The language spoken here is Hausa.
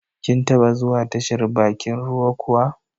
Kin taba zuwa tashar bakin ruwa kuwa?